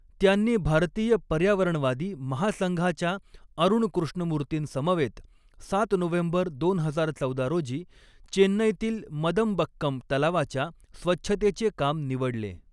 त्यांनी भारतीय पर्यावरणवादी महासंघाच्या अरूण कृष्णमूर्तींसमवेत सात नोव्हेंबर दोन हजार चौदा रोजी चेन्नईतील मदंबक्कम तलावाच्या स्वच्छतेचे काम निवडले.